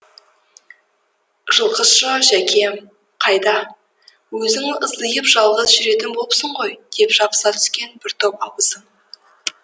жылқышы жәкем қайда өзің ыздиып жалғыз жүретін болыпсың ғой деп жабыса түскен бір топ абысын